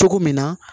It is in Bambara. Cogo min na